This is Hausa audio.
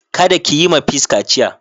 Kada ki yi ma peace kaciya.